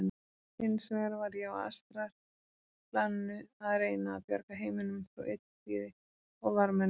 Hins vegar var ég á astralplaninu að reyna að bjarga heiminum frá illþýði og varmennum.